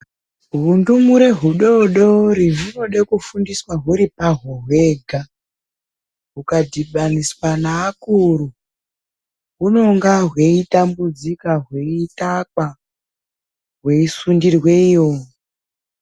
Hundumure hudodori hunode kufundiswa huri hwega hwukadibaniswa neakuru hunonga hweitambudzika hweitakwa hweisundirwe iyo.